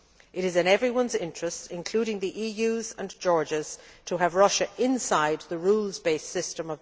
It is in everyone's interests including those of the EU and Georgia to have Russia inside the rules based WTO system.